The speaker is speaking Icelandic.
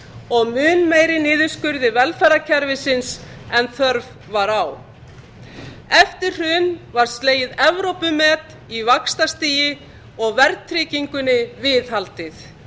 og mun meiri niðurskurði velferðarkerfisins en þörf var á eftir hrun var slegið evrópumet í vaxtastigi og verðtryggingunni viðhaldið